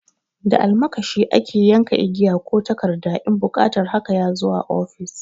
Da almakashi ake yanka igiya ko takarda in buƙatar haka ya zo a ofis.